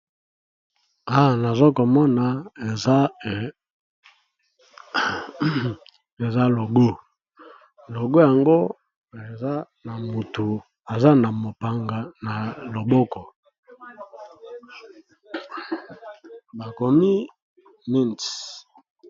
Awa nazo komona eza logo logo yango eza na motu eza na mopanga na loboko bakomi mins.